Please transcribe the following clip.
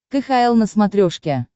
кхл на смотрешке